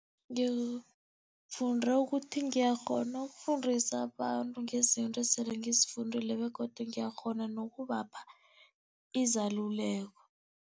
Ngifunde ukuthi ngiyakghona ukufundisa abantu ngezinto esele ngizifundile begodu ngiyakghona nokubapha izeluleko.